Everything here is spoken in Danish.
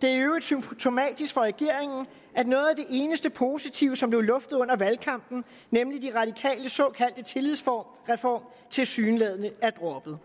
det er i øvrigt symptomatisk for regeringen at noget af det eneste positive som blev luftet under valgkampen nemlig de radikales såkaldte tillidsreform tilsyneladende er droppet